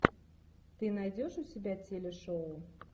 ты найдешь у себя телешоу